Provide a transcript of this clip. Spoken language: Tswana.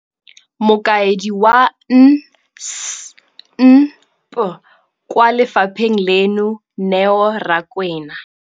Mokaedi wa NSNP kwa lefapheng leno, Neo Rakwena,